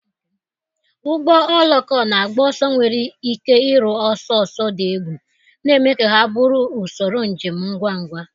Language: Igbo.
Ụgbọ oloko na-agba ọsọ nwere ike iru ọsọ ọsọ dị egwu, na-eme ka ha bụrụ usoro njem ngwa ngwa.